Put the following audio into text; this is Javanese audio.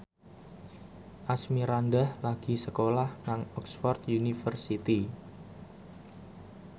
Asmirandah lagi sekolah nang Oxford university